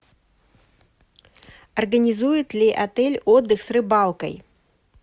организует ли отель отдых с рыбалкой